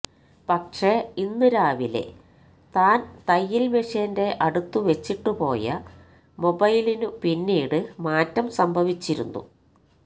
പക്ഷെ ഇന്ന് രാവിലെ താൻ തയ്യിൽ മെഷിന്റെ അടുത്ത് വച്ചിട്ടു പോയ മൊബൈലിനു പിന്നീട് മാറ്റം സംഭവിച്ചിരുന്നു